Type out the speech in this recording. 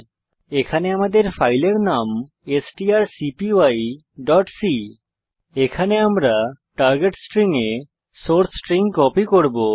দ্রষ্টব্য যে আমাদের ফাইলের নাম strcpyসি এখানে আমরা টার্গেট স্ট্রিং এ সোর্স স্ট্রিং কপি করব